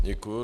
Děkuju.